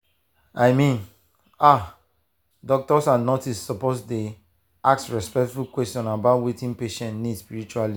i mean ah doctors and nurses suppose dey ask respectful questions about wetin patient need spiritually.